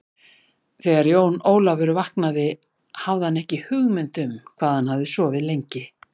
Þegar Jón Ólafur vaknaði hafði hann ekki hugmynd um hvað hann hafði sofið lengi.